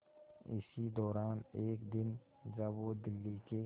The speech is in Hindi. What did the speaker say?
इसी दौरान एक दिन जब वो दिल्ली के